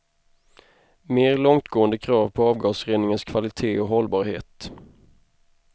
Mer långtgående krav på avgasreningens kvalitet och hållbarhet.